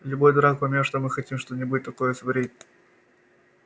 любой дурак поймёт что мы хотим что-нибудь такое сварить